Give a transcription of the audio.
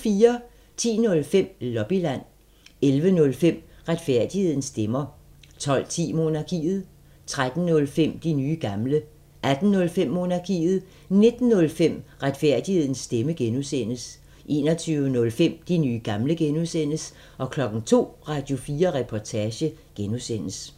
10:05: Lobbyland 11:05: Retfærdighedens stemmer 12:10: Monarkiet 13:05: De nye gamle 18:05: Monarkiet 19:05: Retfærdighedens stemmer (G) 21:05: De nye gamle (G) 02:00: Radio4 Reportage (G)